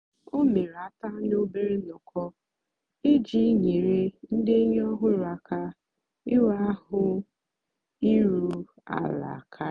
o mèrè àtụ̀anị̀ òbèré nnọ́kọ́ ijì nyèrè ndì ényì ọ̀hụrụ́ àka ìnwé àhụ́ ìrù àla kàrị̀.